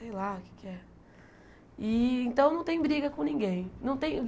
Sei lá o que é que é. E então não tem briga com ninguém. Não tem